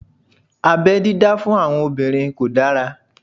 Abẹ́ dídá fún àwọn obìnrin kò dára